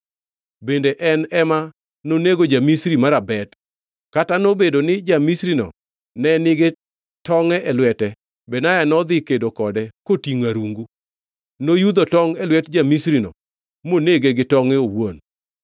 Bende en ema nonego ja-Misri marabet. Kata nobedo ni ja-Misrino ne nigi tongʼ e lwete, Benaya nodhi kedo kode kotingʼo arungu. Noyudho tongʼ e lwet ja-Misrino monege gi tonge owuon.